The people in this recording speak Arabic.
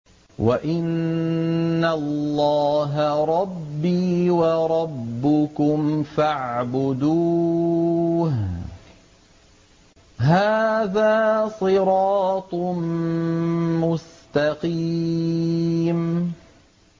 وَإِنَّ اللَّهَ رَبِّي وَرَبُّكُمْ فَاعْبُدُوهُ ۚ هَٰذَا صِرَاطٌ مُّسْتَقِيمٌ